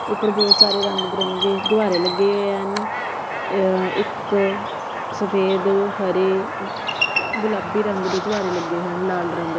ਊਪਰ ਬਹੁਤ ਸਾਰੇ ਰੰਗ ਬਿਰੰਗੇ ਗੁੱਬਾਰੇ ਲੱਗੇ ਹੋਏ ਹਨ ਇੱਕ ਸਫੈਦ ਹਰੇ ਗੁਲਾਬੀ ਰੰਗ ਦੇ ਗੁੱਬਾਰੇ ਲੱਗੇ ਹੋਏ ਹਨ ਲਾਲ ਰੰਗ ਦੇ।